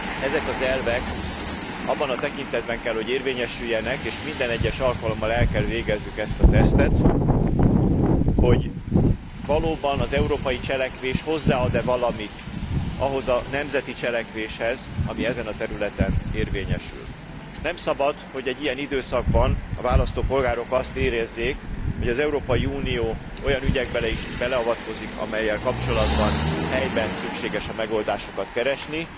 Ezek az elvek abban a tekintetben kell, hogy érvényesüljenek és ezt a tesztet minden egyes alkalommal el kell végeznünk hogy az európai cselekvés valóban hozzáad e valamit ahhoz a nemzeti cselekvéshez, ami ezen a területen érvényesül. Nem szabad, hogy egy ilyen időszakban a választópolgárok azt érezzék, hogy az Európai Unió olyan ügyekbe is beleavatkozik, amellyel kapcsolatban helyben szükséges a megoldásokat keresni.